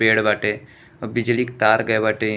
पेड़ बाटे बिजली के तार गए बाटे ए --